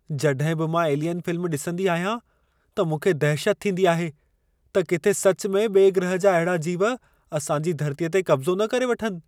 जॾहिं बि मां "एलियन" फिल्म ॾिसंदी आहियां, त मूंखे दहशत थींदी आहे त किथे सच में ॿिए ग्रह जा अहिड़ा जीव असां जी धरतीअ ते कब्ज़ो न करे वठनि।